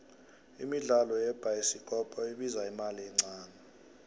imidlalo yebhayisikopko ibiza imali encane